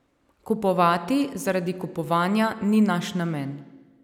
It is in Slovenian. Kupovati zaradi kupovanja ni naš namen.